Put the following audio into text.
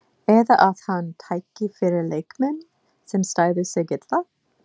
Eða að hann tæki fyrir leikmenn, sem stæðu sig illa?